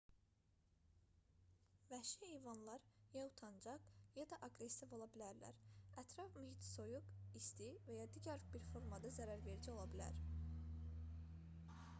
vəhşi heyvanlar ya utancaq ya da aqressiv ola bilərlər ətraf mühit soyuq isti və ya digər bir formada zərərverici ola bilər